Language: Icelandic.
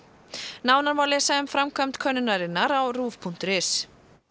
nánar má lesa um framkvæmd könnunarinnar á ruv punktur is